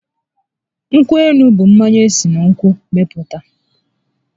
Nkwụ élú bụ mmanya esi na nkwụ were mepụta